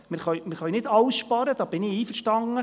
Wir können nicht alles sparen, da bin ich einverstanden.